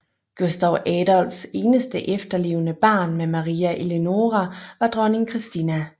Gustav Adolfs eneste efterlevende barn med Maria Eleonora var dronning Kristina